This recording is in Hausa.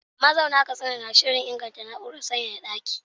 Mazauna Katsina na shirin inganta na’urar sanyaya daki.